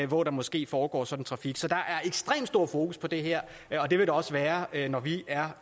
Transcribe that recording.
hvor der måske foregår sådan en trafik så der er ekstremt stor fokus på det her og det vil der også være når vi er